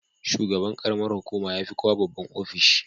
Shugaban ƙaramar hukuma ya fi kowa babban ofishi.